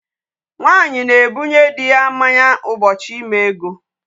Nwaanyị na-egbunye di ya mmanya ụbọchị ime ego.